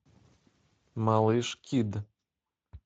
малыш кид